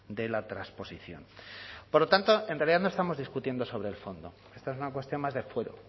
de la transposición por lo tanto en realidad no estamos discutiendo sobre el fondo esta es una cuestión más de fuero